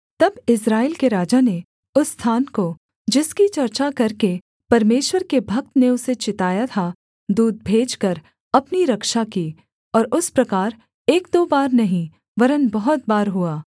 तब इस्राएल के राजा ने उस स्थान को जिसकी चर्चा करके परमेश्वर के भक्त ने उसे चिताया था दूत भेजकर अपनी रक्षा की और उस प्रकार एक दो बार नहीं वरन् बहुत बार हुआ